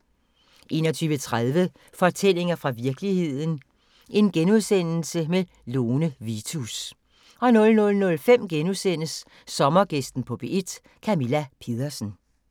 21:30: Fortællinger fra virkeligheden – Lone Vitus * 00:05: Sommergæsten på P1: Camilla Pedersen *